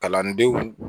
Kalandenw